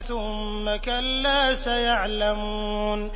ثُمَّ كَلَّا سَيَعْلَمُونَ